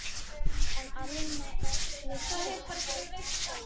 En Alma virtist fædd góð.